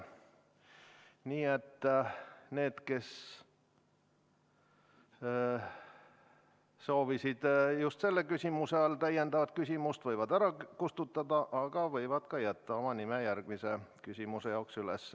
Nii et need, kes soovisid just selle küsimuse all täiendavat küsimust esitada, võivad oma nime ära kustutada, aga võivad ka jätta järgmise küsimuse jaoks üles.